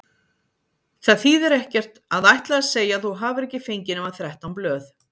Það þýðir ekkert að ætla að segja að þú hafir ekki fengið nema þrettán blöð.